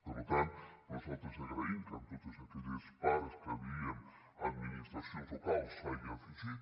per tant nosaltres agraïm que totes aquelles parts en què dèiem admi·nistracions locals s’hi hagin afegit